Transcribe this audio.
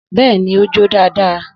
Bẹ́ẹ̀ni, ó jó dáadáa